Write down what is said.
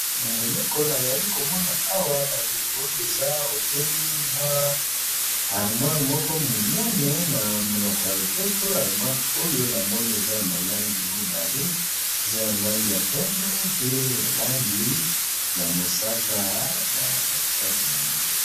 Eloko nayali komona awa ba ndeko eza obele mwa armoire moko monene. Na monoko ya lopoto armoire oyo namoni eza na ba langi mibale, eza na langi ya pembe, mpe langi ya mosaka na kati kati nango.